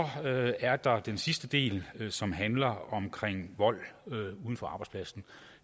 er der den sidste del som handler om vold uden for arbejdspladsen